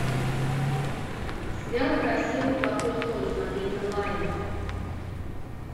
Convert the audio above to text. сериал красивый плохой злой смотреть онлайн